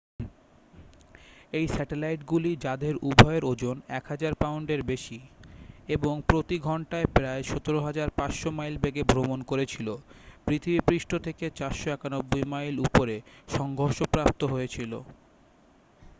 এই স্যাটেলাইটগুলি যাদের উভয়ের ওজন 1,000 পাউন্ডের বেশি এবং প্রতি ঘন্টায় প্রায় 17,500 মাইল বেগে ভ্রমণ করেছিল পৃথিবীপৃষ্ঠ থেকে 491 মাইল উপরে সংঘর্ষপ্রাপ্ত হয়েছিল